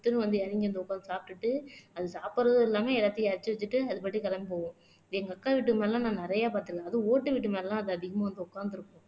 பொட்டுன்னு வந்து இறங்கி, அங்க உட்கார்ந்து சாப்பிட்டுட்டு அது சாப்பிடறதும் இல்லாம எல்லாத்தையும் எறச்சி வச்சுட்டு அது பாட்டுக்கு கிளம்பி போவும் எங்க அக்கா வீட்டு முன்னாடி எல்லாம் நான் நிறைய பார்த்தேன் அதுவும் ஓட்டு வீட்டு மேல அது அதிகமா வந்து உட்கார்ந்திருக்கும்